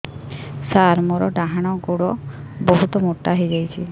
ସାର ମୋର ଡାହାଣ ଗୋଡୋ ବହୁତ ମୋଟା ହେଇଯାଇଛି